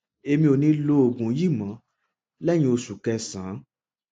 èmi ò ní lo oògùn yìí mọ lẹyìn oṣù kẹsànán